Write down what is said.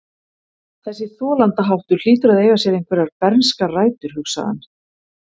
Þessi þolandaháttur hlýtur að eiga sér einhverjar bernskar rætur, hugsaði hann.